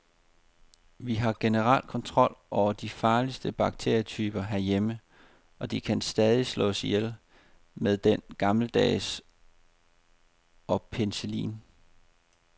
Vi har generelt kontrol over de farligste bakterietyper herhjemme, og de kan stadig slås ihjel med den gammeldags og penicillin.